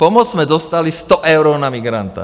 Pomoc jsme dostali 100 eur na migranta.